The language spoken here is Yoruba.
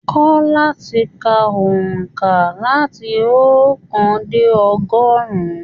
Kọ láti kà óńka láti ookan dé ọgọrun!